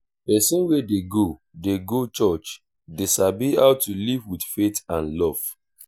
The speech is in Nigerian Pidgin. pesin wey dey go dey go church dey sabi how to live with faith and love